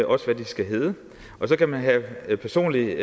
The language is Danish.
også hvad de skal hedde og så kan man have personlige